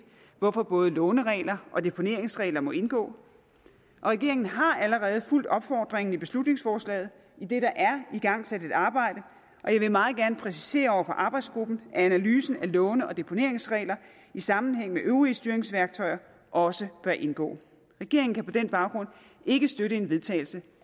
hvorfor både låneregler og deponeringsregler må indgå og regeringen har allerede fulgt opfordringen i beslutningsforslaget idet der er igangsat et arbejde jeg vil meget gerne præcisere over for arbejdsgruppen at analysen af låne og deponeringsregler i sammenhæng med øvrige styringsværktøjer også bør indgå regeringen kan på den baggrund ikke støtte en vedtagelse